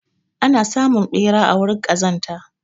Ana samun ɓera a wurin ƙazanta.